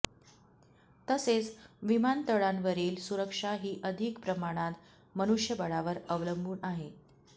तसेच विमानतळांवरील सुरक्षा ही अधिक प्रमाणात मनुष्यबळावर अवलंबून आहे